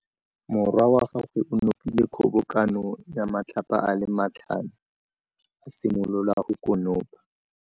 Morwa wa gagwe o nopile kgobokanô ya matlapa a le tlhano, a simolola go konopa.